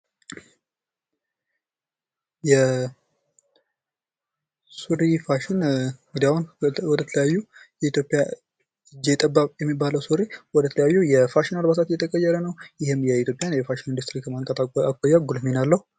የሱሪ ፋሽን እጀጠባብ የሚባለው ወደ ተለያዩ የፋሽን አልባሳት እየተቀየረ ነው። ይህም የኢትዮጵያን የፋሽን ኢንደስትሪ ከማንቃት አኳያ ጉልህ ሚና አለው።